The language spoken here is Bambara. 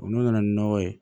Olu nana ni nɔgɔ ye